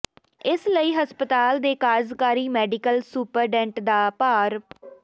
ਇਸ ਲਈ ਹਸਪਤਾਲ ਦੇ ਕਾਰਜ਼ਕਾਰੀ ਮੈਡੀਕਲ ਸੁਪਰਡੈਂਟ ਦਾ ਭਾਰ ਡਾ